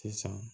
Sisan